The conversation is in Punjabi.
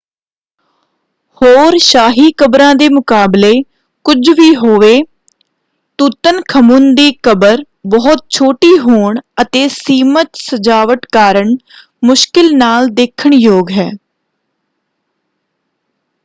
ਹੋਰ ਸ਼ਾਹੀ ਕਬਰਾਂ ਦੇ ਮੁਕਾਬਲੇ ਕੁਝ ਵੀ ਹੋਵੇ ਤੁਤਨਖਮੁਨ ਦੀ ਕਬਰ ਬਹੁਤ ਛੋਟੀ ਹੋਣ ਅਤੇ ਸੀਮਤ ਸਜਾਵਟ ਕਾਰਨ ਮੁਸ਼ਕਿਲ ਨਾਲ ਦੇਖਣਯੋਗ ਹੈ।